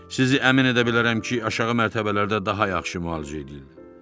Sizi əmin edə bilərəm ki, aşağı mərtəbələrdə daha yaxşı müalicə edirlər.